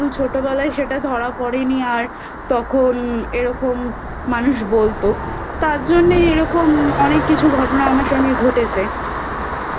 ছোটবেলায় সেটা ধরা পড়েনি আর তখন এরকম মানুষ বলতো তারজন্যে এরকম অনেক কিছু ঘটনা আমার সঙ্গে ঘটেছে